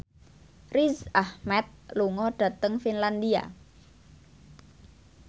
Riz Ahmed lunga dhateng Finlandia